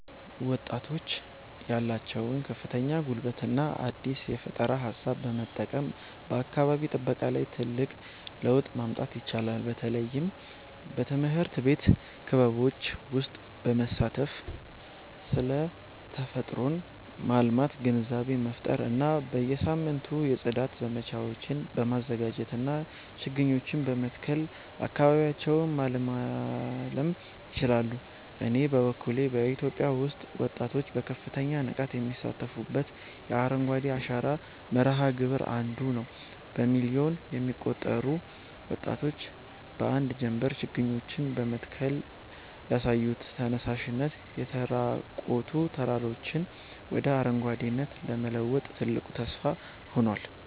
ወጣቶች ያላቸውን ከፍተኛ ጉልበትና አዲስ የፈጠራ ሃሳብ በመጠቀም በአካባቢ ጥበቃ ላይ ትልቅ ለውጥ ማምጣት ይችላሉ። በተለይም በትምህርት ቤት ክበቦች ውስጥ በመሳተፍ ስለ ተፈጥሮን ማልማት ግንዛቤ መፍጠር እና በየሳምንቱ የጽዳት ዘመቻዎችን በማዘጋጀትና ችግኞችን በመትከል አካባቢያቸውን ማለምለል ይችላሉ። እኔ በበኩሌ በኢትዮጵያ ውስጥ ወጣቶች በከፍተኛ ንቃት የሚሳተፉበትን የአረንጓዴ አሻራ መርሃ ግብር 1ዱ ነዉ። በሚሊዮን የሚቆጠሩ ወጣቶች በአንድ ጀምበር ችግኞችን በመትከል ያሳዩት ተነሳሽነት፣ የተራቆቱ ተራራዎችን ወደ አረንጓዴነት ለመለወጥ ትልቅ ተስፋ ሆኗል።